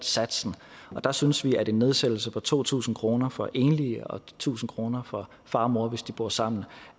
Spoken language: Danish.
satsen og der synes vi at en nedsættelse på to tusind kroner for enlige og tusind kroner for far og mor hvis de bor sammen